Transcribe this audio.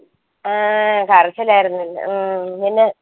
ആഹ് കരച്ചാലായിരുന്നു പിന്ന ഉം പിന്നെ